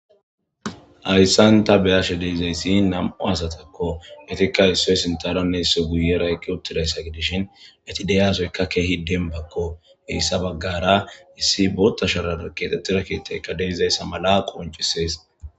Ayssanta beyashe deezayssi nam'u asatakko etikka issoy sintaronne isso guyeraykki uttidayssa gidishin eti deyasoykka keehi denbakko heyssa baggara issi boota sharara keetettirakeetayka deyzayssa mala qoncisees.